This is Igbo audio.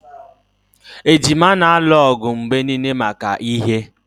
Ejima na-alụ ọgụ mgbe niile maka ihe